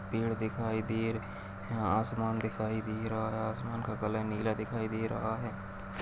पेड़ दिखाई दे हैं असमान दिखाई दे रहा असमान का कलर नीला दिखाई दे रहा है।